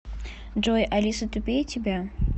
джой алиса тупее тебя